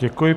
Děkuji.